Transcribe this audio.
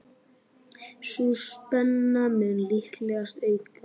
Sú spenna mun líklega aukast.